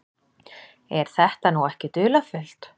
Er þetta nú ekki dularfullt?